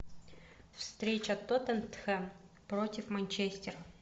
встреча тоттенхэм против манчестер